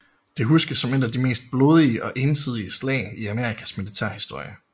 Det huskes som et af de mest blodige og ensidige slag i Amerikas militærhistorie